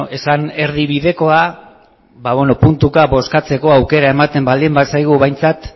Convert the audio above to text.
esan erdibidekoa puntuka bozkatzeko aukera ematen baldi bazaigu behintzat